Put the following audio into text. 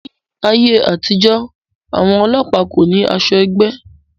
Ní ayé àtijó, àwọn ọlọ́pàá kò ní asọ ẹgbẹ́